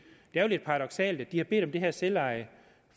er jo lidt paradoksalt at de har bedt om det her selveje